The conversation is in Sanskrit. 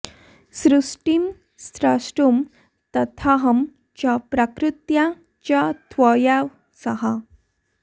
सृष्टिं स्रष्टुं तथाहं च प्रकृत्या च त्वया सह